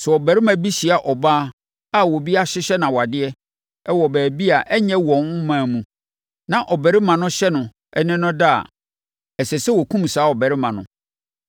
Sɛ ɔbarima bi hyia ɔbaa a obi ahyehyɛ no awadeɛ wɔ baabi a ɛnyɛ wɔn ɔman mu, na ɔbarima no hyɛ no ne no da a, ɛsɛ sɛ wɔkum saa ɔbarima no.